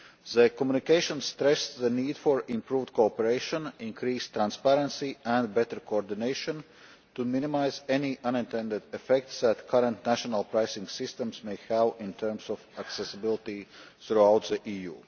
The communication stressed the need for improved cooperation, increased transparency and better coordination to minimise any unintended effects that current national pricing systems may have in terms of accessibility throughout the EU.